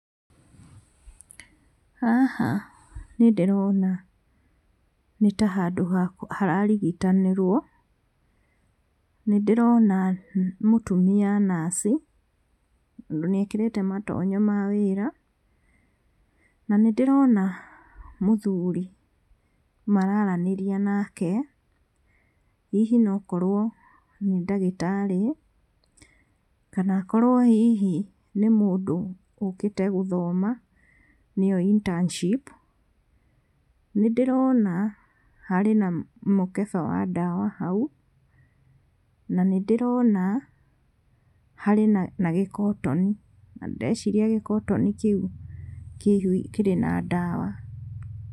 Haha nĩndĩrona nĩtahandũ hararigitanĩrwo, nĩndĩrona mũtumia naci tondũ nĩekĩrĩte matonye ma wĩra na nĩndĩrona mũthuri mararanĩria nake, hihi nokorwo nĩ ndagĩtarĩ kana akorwo hihi nĩ mũndũ ũkĩte gũthoma nĩyo internship. Nĩndĩrona harĩ na mũkebe wa dawa hau na nĩndĩrona harĩ na kĩgotoni, ndĩreciria kĩgotoni kĩu kĩrĩ na dawa.